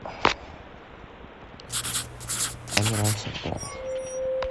амиран сардаров